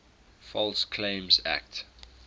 false claims act